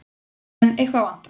En eitthvað vantar.